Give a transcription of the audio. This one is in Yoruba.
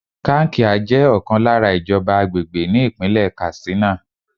Kankia jẹ́ ọ̀kan lára ìjọba àgbègbè ní Ìpínlẹ̀ Katsina.